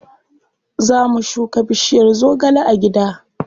Za mu shuka bishiyar zogale a gida.